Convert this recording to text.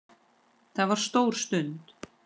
Það var stór stund.